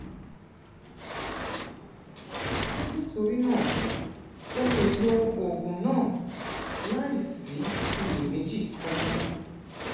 nítorí náà o lè lo oògùn náà láìsí iyèméjì kankan